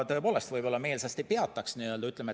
Sellisel juhul ta tõepoolest meelsasti need peataks.